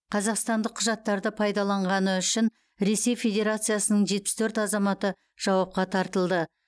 қазақстандық құжаттарды пайдаланғаны үшін ресей федерациясының жетпіс төрт азаматы жауапқа тартылды